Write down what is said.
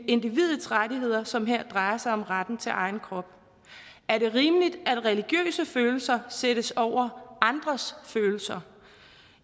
individets rettigheder som her drejer sig om retten til egen krop er det rimeligt at religiøse følelser sættes over andres følelser